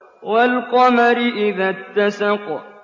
وَالْقَمَرِ إِذَا اتَّسَقَ